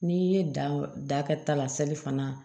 N'i ye dan dan kɛta la salifanna